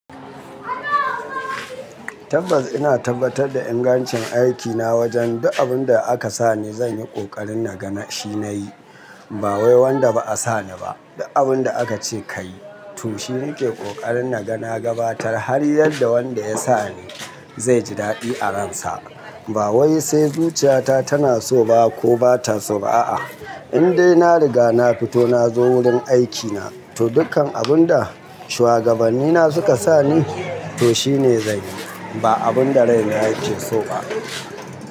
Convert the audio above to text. Tabbas ina tabbatar da ingancin aikina wajen duk abun da aka sa ni zan yi kokarin na gani shi na yi. Ba wai wanda ba a sa ni ba, duk abun da aka ce ka yi to shi nake kokarin na ga na gabatar har yadda wanda ya sa ni zai ji daɗi a ransa. Ba wai sai zuciyata tana so ba ko ba ta so ba a'a. Indai na riga na fito na zo wurin aikina to dukkan abun da shuwagabannina suka sa ni to shine zan yi. Ba abun da rai na yake so ba.